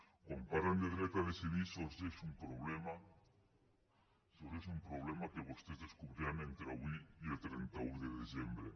quan parlen de dret a decidir sorgeix un problema sorgeix un problema que vostès descobriran entre avui i el trenta un de desembre